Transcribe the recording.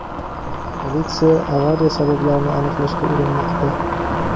Politsiya avariya sabablarini aniqlashga urinmoqda.